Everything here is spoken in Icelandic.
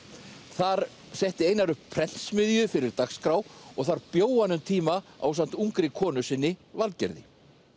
þar setti Einar upp prentsmiðju fyrir dagskrá og þar bjó hann um tíma ásamt ungri konu sinni Valgerði